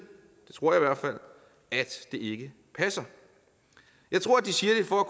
at det ikke passer jeg tror at de siger det for